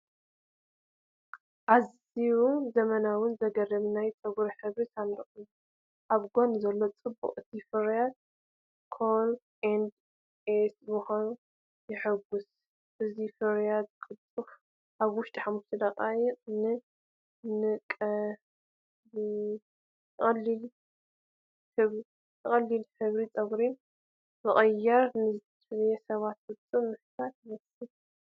ኣዝዩ ዘመናውን ዘገርምን ናይ ጸጉሪ ሕብሪ ሳንዱቕ እዩ። ኣብ ጎኒ ዘሎ ጽሑፍ እቲ ፍርያት "Cool & Easy" ምዃኑ የጉልሕ። እዚ ፍርያት ቅልጡፍ (ኣብ ውሽጢ 5 ደቓይቕ)ን ቀሊልን ሕብሪ ጸጉሪ ምቕያር ንዝደልዩ ሰባት ፍጹም ፍታሕ ይመስል።